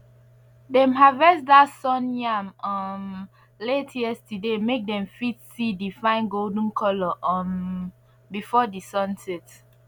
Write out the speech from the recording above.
dem harvest dat sun yam um late yesterday make dem fit see di fine golden color um before di sun set